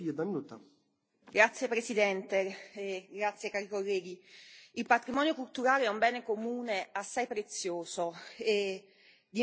Signor Presidente, onorevoli colleghi, il patrimonio culturale è un bene comune assai prezioso e di importanza unica.